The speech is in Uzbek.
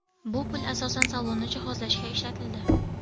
Bu pul asosan salonni jihozlashga ishlatildi.